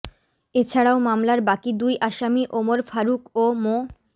এছাড়াও মামলার বাকি দুই আসামি ওমর ফারুক ও মো